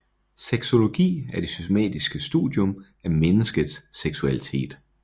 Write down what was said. Sexologi er det systematiske studium af menneskets seksualitet